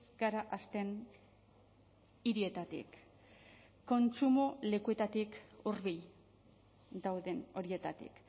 gara hasten hirietatik kontsumo lekuetatik hurbil dauden horietatik